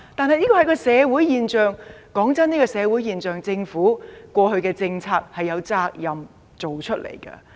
老實說，出現這種社會現象，政府過去的政策也要負上責任。